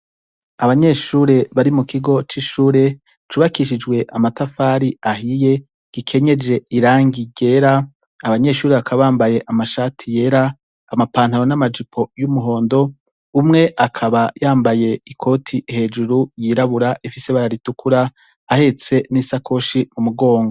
Abanyeshure bari mu kigo c'ishure cubakishijwe amatafari ahiye gikenyeje irangi ryera, abanyeshure bakabambaye amashati yera amapantano n'amajipo y'umuhondo, umwe akaba yambaye ikoti hejuru yirabura ifise bararitukura ahetse n'isakoshi mugongo.